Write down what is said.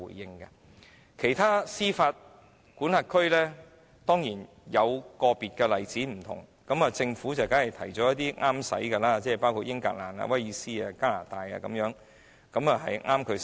至於其他司法管轄區，當然有個別例子有所不同，而政府當然提出一些切合自己的國家作為例子，包括英格蘭、威爾斯、加拿大等。